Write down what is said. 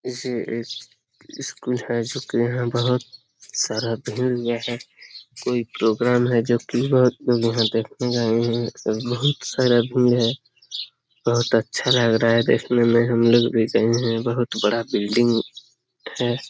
School है जो कि यहां बोहोत सारा भीड़ ये है। कोई प्रोग्राम है जो कि बोहोत वहां देखने आए हैं बहुत सारा भीड़ है। बोहोत अच्छा लग रहा है देखने में। हम लोग भी गए हैं। बहुत बड़ा बिल्डिंग है।